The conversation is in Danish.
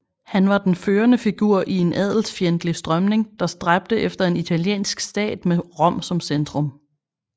Han var den førende figur i en adelsfjendtlig strømning der stræbte efter en italiensk stat med Rom som centrum